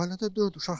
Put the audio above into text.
Ailədə dörd uşaqdırlar.